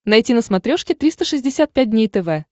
найти на смотрешке триста шестьдесят пять дней тв